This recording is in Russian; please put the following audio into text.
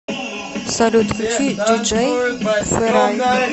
салют включи диджей ферай